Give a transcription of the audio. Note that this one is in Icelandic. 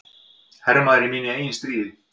Hermaður í mínu eigin stríði.